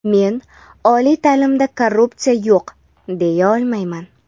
Men oliy ta’limda korrupsiya yo‘q, deya olmayman.